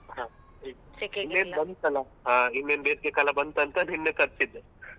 ಹ ಬಂತಲಾ. ಹ ಇನ್ನೇನ್ ಬೇಸಿಗೆ ಕಾಲ ಬಂತಂತ ನಿನ್ನೆ ತರ್ಸಿದ್ದೆ.